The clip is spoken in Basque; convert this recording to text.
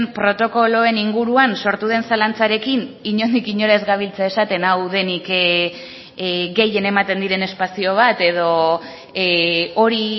protokoloen inguruan sortu den zalantzarekin inondik inora ez gabiltza esaten hau denik gehien ematen diren espazio bat edo hori